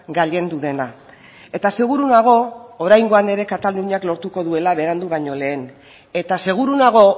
gailendu dena eta seguru nago oraingoan ere kataluniak lortuko duela berandu baino lehen eta seguru nago